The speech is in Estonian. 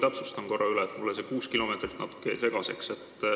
Ma soovin veel üle täpsustada, mulle see kuus kilomeetrit jäi natuke segaseks.